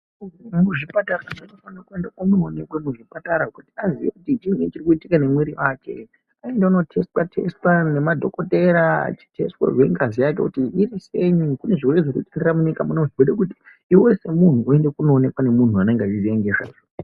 Muntu anofanirwa kuenda kuchipatara kuti azive kuti chiini chiri kuitika nemwiri wake aenda kunotesitwa tesitwa nemadhokodhera eyitesitwa ngazi yake kuona kuti iriseyi nekuti kune zvirwere zvikuitika munyika muno saka zvoda kuti iwe semunhu uende kunoonekwa ngemuntu unoziya nezvazvo.